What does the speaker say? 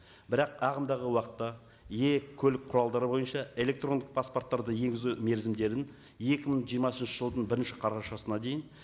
бірақ ағымдағы уақытта көлік құралдары бойынша электрондық паспорттарды енгізу мерзімдерін екі мың жиырмасыншы жылдың бірінші қарашасына дейін